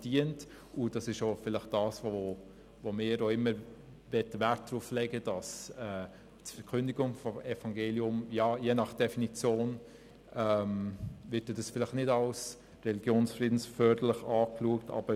Und das ist vielleicht auch das, worauf wir immer Wert legen, nämlich, dass die Verkündigung des Evangeliums je nach Definition vielleicht nicht als religionsfriedensförderlich betrachtet wird.